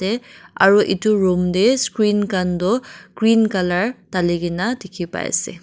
te aro edu room tae screen khan toh green colour talikaena dikhipaiase.